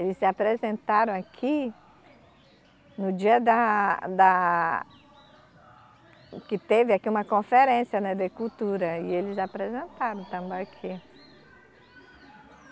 Eles se apresentaram aqui no dia da, da, que teve aqui uma conferência, né, de cultura, e eles apresentaram o Tambaqui.